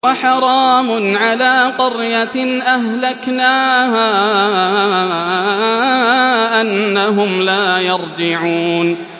وَحَرَامٌ عَلَىٰ قَرْيَةٍ أَهْلَكْنَاهَا أَنَّهُمْ لَا يَرْجِعُونَ